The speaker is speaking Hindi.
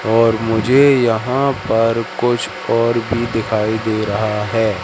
और मुझे यहां पर कुछ और भी दिखाई दे रहा है।